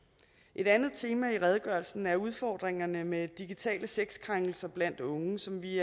et andet tema i redegørelsen er udfordringerne med digitale sexkrænkelser blandt unge som vi